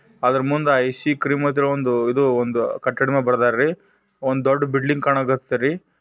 ಅದರ ಮುಂದೆ ಒಂದು ಐಸ್ ಕ್ರೀಮ್ ಒಂದು ಕಟ್ಟಡ ಮೇಲೆ ಬರೆದವರು ಒಂದ್ ದೊಡ್ ಬಿಲ್ಡಿಂಗ್ ಕಾಣಕ್ ಹತ್ತವ್ರಿ.